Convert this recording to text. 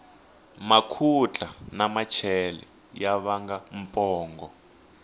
makhutla na machela ya vanga pongo